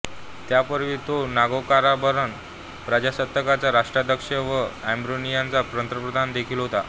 त्यापूर्वी तो नागोर्नोकाराबाख प्रजासत्ताकाचा राष्ट्राध्यक्ष व आर्मेनियाचा पंतप्रधान देखील होता